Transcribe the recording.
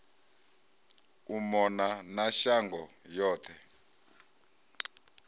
u mona na shango yoṱhe